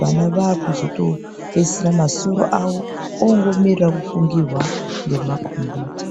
vana vaakuzopedzisira masoro avo ongomirira kufungirwa ngemakombiyuta.